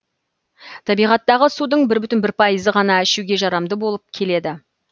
табиғаттағы судың бір бүтін бір пайызы ғана ішуге жарамды болып келеді